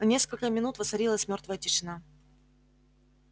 на несколько минут воцарилась мёртвая тишина